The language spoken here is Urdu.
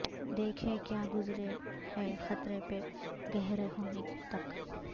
دیکھیں کیا گذرے ہے قطرہ پہ گہر ہونے تک